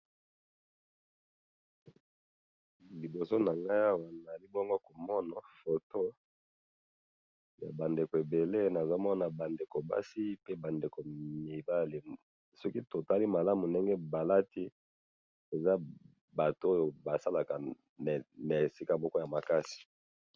Photo oyo ndenge na moni, eza ba mibali ebele na basi ebele balati kitoko, emonani lokola basalaka bisika ya makasi.